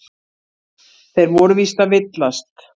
Þeir voru víst að villast.